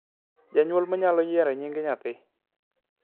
janyuol mnyalo yiero nying nyathi